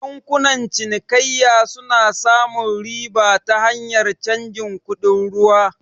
Bankunan cinikayya suna samun riba ta hanyar cajin kuɗin ruwa